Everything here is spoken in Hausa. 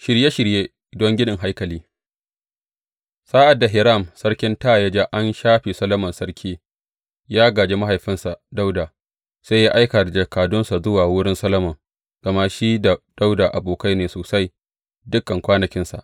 Shirye shirye don ginin haikali Sa’ad da Hiram sarkin Taya ya ji an shafe Solomon sarki yă gāji mahaifinsa Dawuda, sai ya aika da jakadunsa zuwa wurin Solomon, gama shi da Dawuda abokai ne sosai dukan kwanakinsa.